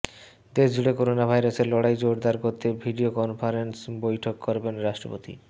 দেশজুড়ে করোনা ভাইরাসের লড়াই জোরদার করতে ভিডিও কনফারেন্সে বৈঠক করবেন রাষ্ট্রপতি